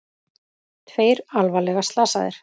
Tveir alvarlega slasaðir